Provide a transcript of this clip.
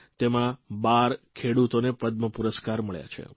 તેમાં 12 ખેડૂતોને પદ્મપુરસ્કાર મળ્યા છે